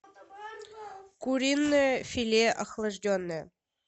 куриное филе охлажденное